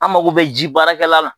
An mago bɛ ji baarakɛlan la